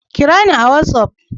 Kirani a watsaf!